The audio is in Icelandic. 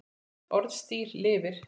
Orðstír lifir.